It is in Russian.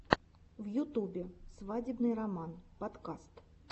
в ютубе свадебный романс подкаст